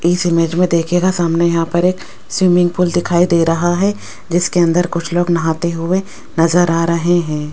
इस इमेज में दुखिएगा सामने यहां पर एक स्विमिंग पूल दिखाई दे रहा है जिसके अंदर कुछ लोग नहाते हुए नजर आ रहें हैं।